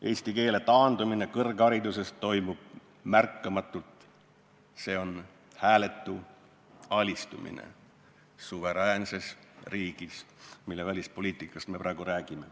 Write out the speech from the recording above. Eesti keele taandumine kõrghariduses toimub märkamatult, see on hääletu alistumine suveräänses riigis, mille välispoliitikast me praegu räägime.